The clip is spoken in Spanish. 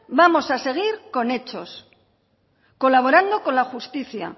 vamos a seguir con hechos colaborando con la justicia